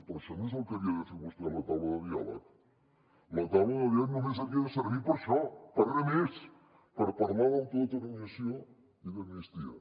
però això no és el que havia de fer vostè a la taula de diàleg la taula de diàleg només havia de servir per això per res més per parlar d’autodeterminació i d’amnistia